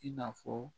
I n'a fɔ